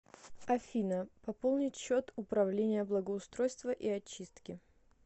афина пополнить счет управление благоустройства и очистки